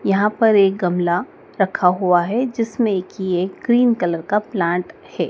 यहाँ पर एक गमला रखा हुआ है जिसमें की एक क्रीम कलर का प्लांट है।